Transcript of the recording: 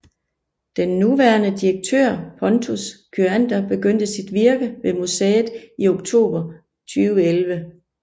Den nuværende direktør Pontus Kyander begyndte sit virke ved museet i oktober 2011